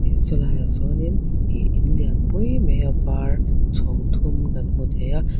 sawlai ah sawnin ih in lianpui mai a var chhawng thum kan hmu thei a.